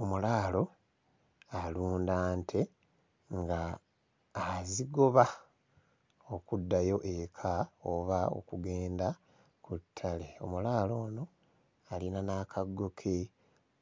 Omulaalo alunda nte ng'azigoba okuddayo eka oba okugenda ku ttale. Omulaalo ono alina n'akaggo ke